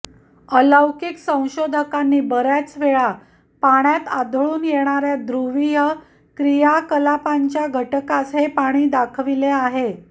अलौकिक संशोधकांनी बर्याच वेळा पाण्यात आढळून येणाऱ्या ध्रुवीय क्रियाकलापांच्या घटकास हे पाणी दाखविले आहे